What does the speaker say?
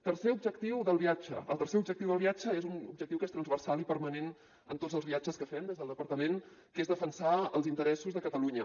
tercer objectiu del viatge el tercer objectiu del viatge és un objectiu que és transversal i permanent en tots els viatges que fem des del departament que és defensar els interessos de catalunya